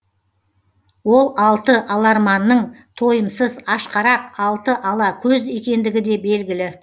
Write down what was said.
ол алты аларманның тойымсыз ашқарақ алты ала көз екендігі де белгілі